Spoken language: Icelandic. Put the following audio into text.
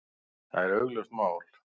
Það er augljóst mál.